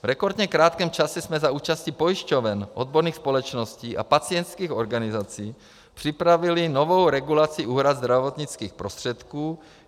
V rekordně krátkém čase jsme za účasti pojišťoven, odborných společností a pacientských organizací připravili novou regulaci úhrad zdravotnických prostředků.